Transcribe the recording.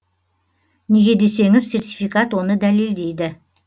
неге десеңіз сертификат оны дәлелдейді